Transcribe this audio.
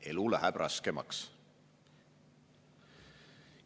Elu läheb raskemaks.